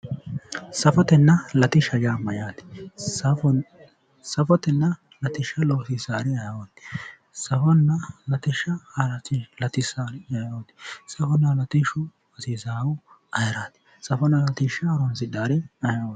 safotenna latishsha yaa mayyaate? safotenna latishsha loosiissaari ayeeooti? safonna latishsha latissaari ayeeooti? safonna latishshu hasiisaahu ayeeraati? safonna latishsha horonsidhaari ayeeooti?